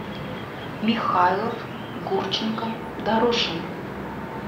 михайлов гурченко дорошина